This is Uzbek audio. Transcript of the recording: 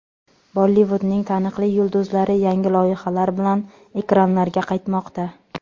Bollivudning taniqli yulduzlari yangi loyihalar bilan ekranlarga qaytmoqda.